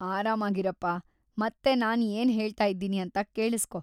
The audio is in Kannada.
ಆರಾಮಾಗಿರಪ್ಪ, ಮತ್ತೆ ನಾನ್‌ ಏನ್‌ ಹೇಳ್ತಾಯಿದ್ದೀನಿ ಅಂತ ಕೇಳಿಸ್ಕೊ.